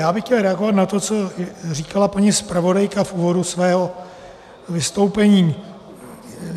Já bych chtěl reagovat na to, co říkala paní zpravodajka v úvodu svého vystoupení.